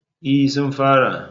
E, sun fara.